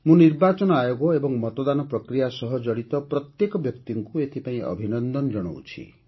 ମୁଁ ନିର୍ବାଚନ ଆୟୋଗ ଏବଂ ମତଦାନ ପ୍ରକ୍ରିୟା ସହ ଜଡ଼ିତ ପ୍ରତ୍ୟେକ ବ୍ୟକ୍ତିଙ୍କୁ ଏଥିପାଇଁ ଅଭିନନ୍ଦନ ଜଣାଉଛି